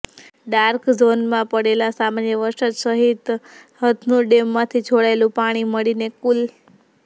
dark ઝોનમાં પડેલા સામાન્ય વરસાદ સહિત હથનુર ડેમમાંથી છોડાયેલું પાણી મળીને કુલ